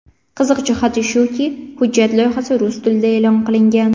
Qiziq jihati shuki, hujjat loyihasi rus tilida e’lon qilingan.